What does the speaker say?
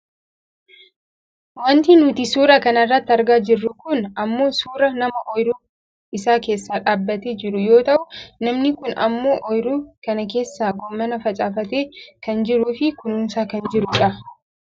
Wanti nuti suuraa kanarratti argaa jirru kun ammoo suuraa nama ooyiruu isaa keessa dhaabbatee jiru yoo ta'u namni kun ammoo ooyiruu kana keessaa goommana facaafatee kan jiruufi kunuunsaa kan jirudha.